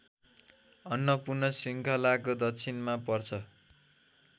अन्नपूर्ण श्रृङ्खलाको दक्षिणमा पर्छ